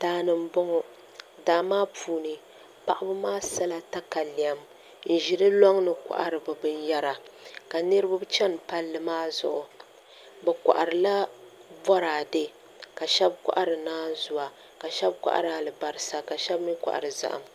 Daani n boŋo daa maa puuni paɣaba maa sala jatalɛm n ʒi di loŋni n kohari bi binyɛra ka niraba chɛni palli maa zuɣu bi koharila Boraadɛ ka shab kohari naanzuwa ka shab kohari alibarisa ka shab mii kohari zaham